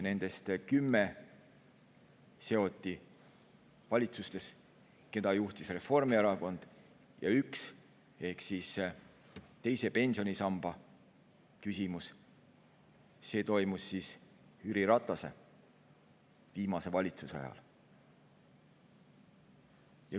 Nendest kümme seoti valitsustes, keda juhtis Reformierakond, ja üks ehk teise pensionisamba küsimus Jüri Ratase viimase valitsuse ajal.